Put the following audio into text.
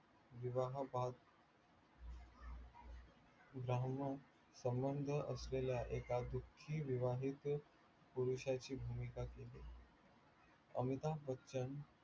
विवाह बाह्य लहान सबंध असलेल्या एका दुखी विवाहित पुरुषाची भूमिका केली अमिताभ बच्चन